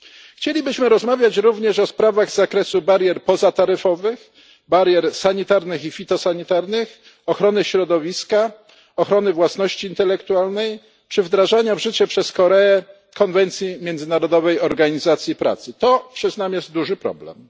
Chcielibyśmy rozmawiać również o sprawach z zakresu barier pozataryfowych, barier sanitarnych i fitosanitarnych, ochrony środowiska, ochrony własności intelektualnej czy wdrażania w życie przez Koreę konwencji Międzynarodowej Organizacji Pracy to, przyznam, jest duży problem.